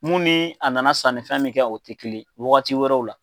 Mun ni a nana sanni fɛn min kɛ o tɛ kelen ye, wagati wɛrɛw la.